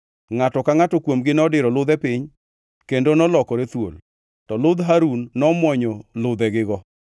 Ngʼato ka ngʼato kuomgi nodiro ludhe piny kendo nolokore thuol. To ludh Harun nomwonyo ludhegigo.